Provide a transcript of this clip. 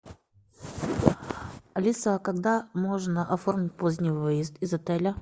алиса а когда можно оформить поздний выезд из отеля